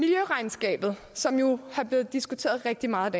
hvad angår som jo er blevet diskuteret rigtig meget